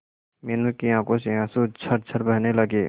मीनू की आंखों से आंसू झरझर बहने लगे